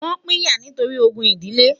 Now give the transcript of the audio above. wón pínyà nítorí ògún idile